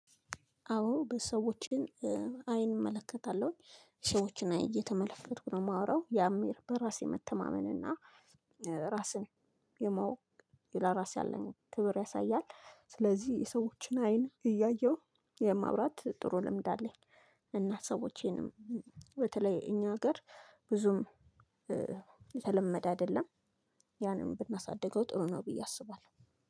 አዎ በሰዎችን አይን እመለከታለሁኝ ሰዎችን አይን እየተመለከኩ ነው የማወራው ያም በራሴ መተማመን እና ራስን የማወቅ ለራሴ ያለኝን ክብር ያሳያል። ስለዚህ የሰዎችን አይን እያየሁ የማውራት ጥሩ ልምድ አለኝ። እና ሰዎቼንም በተለይ እኛ ሀገር ብዙም የተለመደ አይደለም። ያንን ብናሳድገው ጥሩ ነው ብዬ አስባለሁ።